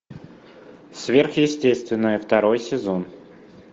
сверхъестественное второй сезон